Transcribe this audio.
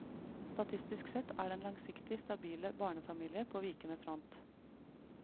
Statistisk sett er den langsiktig stabile barnefamilie på vikende front.